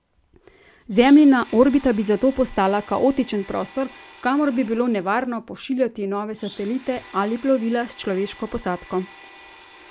Zemljina orbita bi zato postala kaotičen prostor, kamor bi bilo nevarno pošiljati nove satelite ali plovila s človeško posadko.